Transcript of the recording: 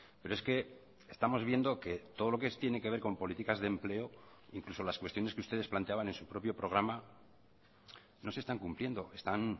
pero es que estamos viendo que todo lo que tiene que ver con políticas de empleo incluso las cuestiones que ustedes planteaban en su propio programa no se están cumpliendo están